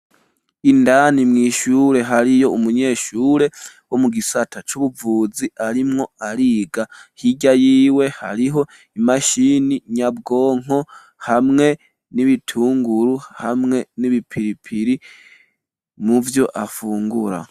Indani mw'ishure hariyo umunyeshure wo mu gisata c'ubuvuzi arimwo ariga ,hirya yiwe hariho imashini nyabwonko ,hamwe n'ibitunguru ,hamwe n'ibipiripiri muvyo afungura.